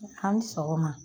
An ni sɔgɔma